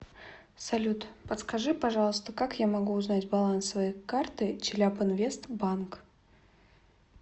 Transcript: салют подскажи пожалуйста как я могу узнать баланс своей карты челябинвест банк